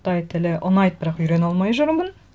қытай тілі ұнайды бірақ үйрене алмай жүрмін